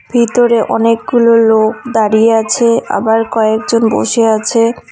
ভিতরে অনেকগুলো লোক দাঁড়িয়ে আছে আবার কয়েকজন বসে আছে।